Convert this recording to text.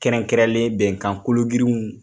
Kɛrɛnkɛrɛnlen bɛnkan kolo girinw